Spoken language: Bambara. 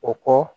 O kɔ